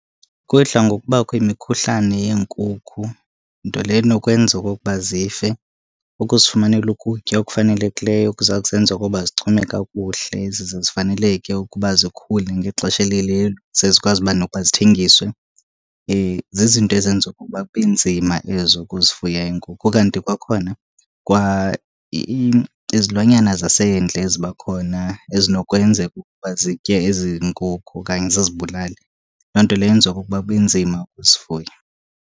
Kudla ngokubakho imikhuhlane yeenkukhu, nto leyo enokwenza okokuba zife. Ukuzifumanela ukutya okufanelekileyo kuza kuzenza okokuba zichume kakuhle zize zifaneleke ukuba zikhule ngexesha elililo, ze zikwazi uba nokuba zithengiswe. Zizinto ezenza okokuba kube nzima ezo ukuzifuya iinkukhu. Ukanti kwakhona kwa izilwanyana zasendle ziba khona ezinokwenzeka ukuba zitye ezi nkukhu okanye zizibulale. Loo nto leyo yenza okokuba kube nzima ukuzifuya.